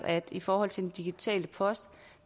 at vi i forhold til den digitale post